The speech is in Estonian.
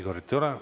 Igorit ei ole.